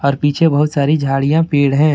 और पीछे बहुत सारी झाड़ियां पेड़ हैं।